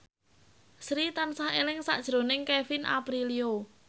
Sri tansah eling sakjroning Kevin Aprilio